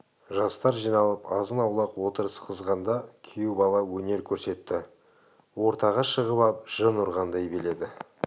жастар жиналып азын-аулақ отырыс қызғанда күйеу бала өнер көрсетті ортаға шығып ап жын ұрғандай биледі